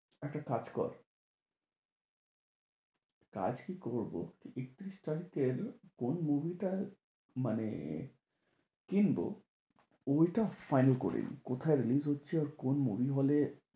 একটা কাজ কর, কাজ কি করবো? একতিরিশ তারিখের কোন movie টার মানে কিনবো? ওইটা final করে নি। কোথায় release হচ্ছে? আর কোন hall এ?